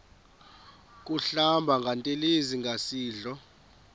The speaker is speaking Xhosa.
kuhlamba ngantelezi nasidlo